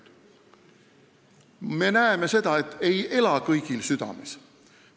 Aga me näeme, et see ei ela kõigil südames.